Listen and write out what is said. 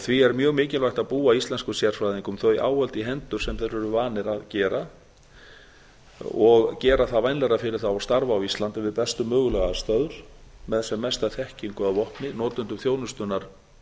því er mikilvægt að búa íslenskum sérfræðingum þau áhöld í hendur sem þeir eru vanir og gera það vænlegra fyrir þá að starfa á íslandi við bestu mögulegu aðstæður og með sem mesta þekkingu að vopni notendum þjónustunnar